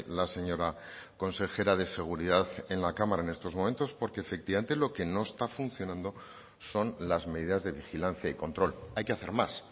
la señora consejera de seguridad en la cámara en estos momentos porque efectivamente lo que no está funcionando son las medidas de vigilancia y control hay que hacer más